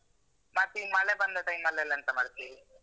ಮತ್ ಈ ಮಳೆ ಬಂದ time ಅಲೆಲ್ಲ ಎಂತ ಮಾಡ್ತೀರಿ?